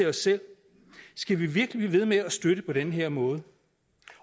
os selv skal vi virkelig blive ved med at støtte på den her måde